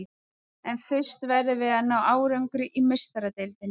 En fyrst verðum við að ná árangri í Meistaradeildinni.